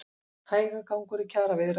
Hægagangur í kjaraviðræðum